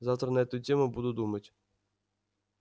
завтра на эту тему буду думать